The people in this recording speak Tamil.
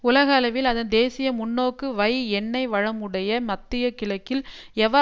உலகளவில் அதன் தேசிய முன்னோக்கு வை எண்ணெய் வளமுடைய மத்திய கிழக்கில் எவர்